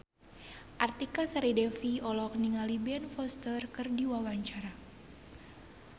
Artika Sari Devi olohok ningali Ben Foster keur diwawancara